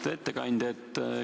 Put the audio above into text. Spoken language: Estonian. Lugupeetud ettekandja!